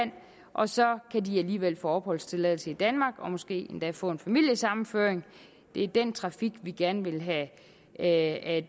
og så kan de alligevel få opholdstilladelse i danmark og måske endda få en familiesammenføring det er den trafik vi gerne vil have at